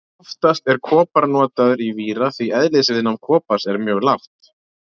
Oftast er kopar notaður í víra því eðlisviðnám kopars er mjög lágt.